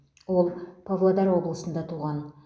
ол павлодар облысында туған